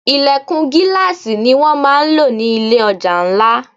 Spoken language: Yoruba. Ìlẹ̀kùn gíláàsì ní wón máa ń lò ní ilé ọjà ńlá.